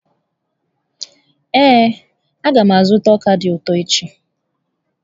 Ee, a ga m azụta ọka dị ụtọ echi.